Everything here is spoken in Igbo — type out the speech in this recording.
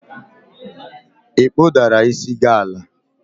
ị kpụdara isi gi ala?